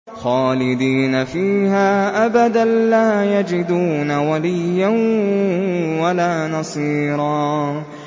خَالِدِينَ فِيهَا أَبَدًا ۖ لَّا يَجِدُونَ وَلِيًّا وَلَا نَصِيرًا